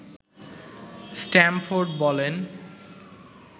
Stamford বলেন